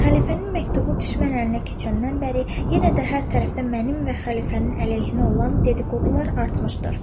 Xəlifənin məktubu düşmən əlinə keçəndən bəri yenə də hər tərəfdən mənim və xəlifənin əleyhinə olan dediqodular artmışdır.